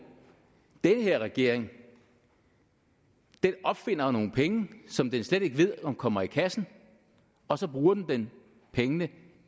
den her regering opfinder nogle penge som den slet ikke ved om kommer i kassen og så bruger den pengene